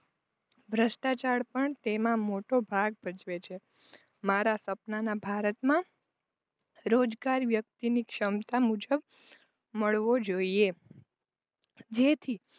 ભ્રસ્ટાચાર પણ તેમાં મોટો ભાગ ભજવે છે. મારા સપનાના ભારતમાં રોજગાર વ્યક્તિની ક્ષમતા મુજબ મળવો જોઈએ જેથી